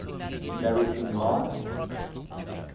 larry king live